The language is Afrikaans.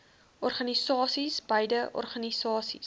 organisasies beide organisasies